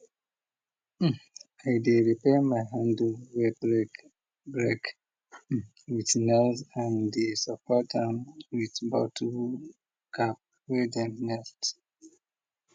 i dey repair my handle way break break with nails and dey support am with bottle cap way dem melt